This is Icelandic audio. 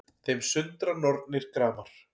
Þeim sundra nornir gramar